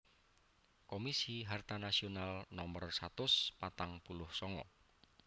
Komisi Harta Nasional Nomor satus patang puluh sanga